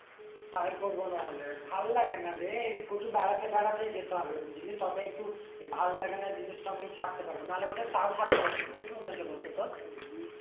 তাই করবো না হলে ভাল লাগে না রে প্রচুর বেড়াতে ফেরাতে যেতে হবে বুঝলি তবে একটু ভাল লাগেনা জিনিষটা আমি ছাড়তে পারবো না হলে বোধ হয়ে তাও ছাড়তে পারবো না কি মনে হচ্ছে বল তো তোর?